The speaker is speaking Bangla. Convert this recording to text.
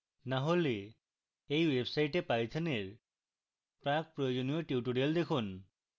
না হলে এই website পাইথনের প্রাকপ্রয়োজনীয় tutorials দেখুন